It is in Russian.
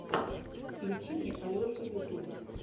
включи мне олешу ютуб